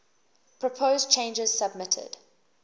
proposed changes submitted